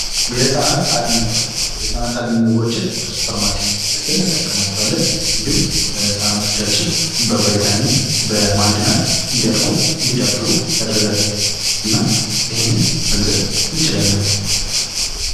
የህፃናት አልሚ ምግቦች ፦ የህፃናት አልሚ ምግቦችን ከሱፐርማርኬት ገዝተን እንጠቀማቸዋለን ። እንዲሁም ህጻናቶቻችን በቫይታሚን ፣ በማዕድናት እንዲያድጉ ፣ እንዲዳብሩ ያደርጋል ። እናም ይህንን መግዛት እንችላለን ።